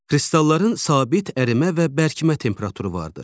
Kristalların sabit ərimə və bərkimə temperaturu vardır.